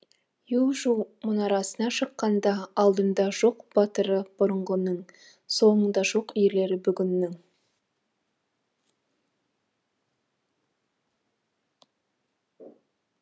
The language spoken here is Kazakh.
ю жу мұнарасына шыққандаалдымда жоқ батыры бұрынғының соңымда жоқ ерлері бүгінгінің